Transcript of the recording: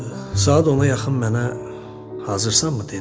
Saat ona yaxın mənə, "Hazırsanmı?" dedi.